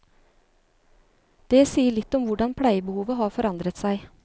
Det sier litt om hvordan pleiebehovet har forandret seg.